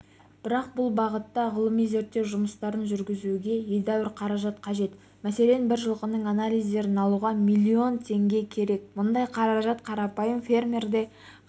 бірақ бұл бағытта ғылыми-зерттеу жұмыстарын жүргізуге едәуір қаражат қажет мәселен бір жылқының анализдерін алуға миллион теңге керек мұндай қаражат қарапайым фермерде